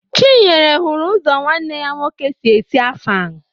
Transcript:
Chinyere hụrụ ụzọ nwanne ya nwoke si esi Afang